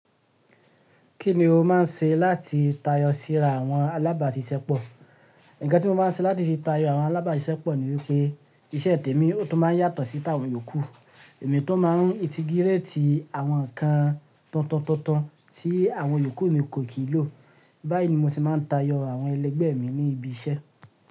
Kí ni o máà ń ṣe láti tayọ síra àwọn alábàáṣiṣẹ́ pọ̀? Ǹkan tí mo máa ń ṣe láti fi tayọ àwọn alábàáṣiṣẹ́ pọ̀ ní wípé iṣẹ́ tèmi tó máa ń yàtọ̀ sí tàwọn yòókù. Èmi tun máa ń tí gírétì àwọn ǹkan tuntuntuntun tí àwọn yòókù mi kò kìí lò. Báyìí ni mo sì máa ń tayọ àwọn ẹlẹgbẹ́ mi ní ibi iṣẹ́.